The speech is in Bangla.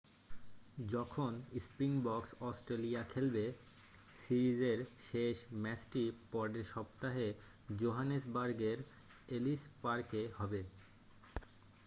যখন স্প্রিংবক্স অস্ট্রেলিয়া খেলবে সিরিজের শেষ ম্যাচটি পরের সপ্তাহে জোহানেসবার্গের এলিস পার্কে হবে